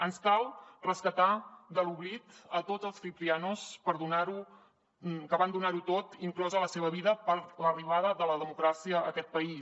ens cal rescatar de l’oblit a tots els ciprianos que van donar ho tot inclosa la seva vida per l’arribada de la democràcia a aquest país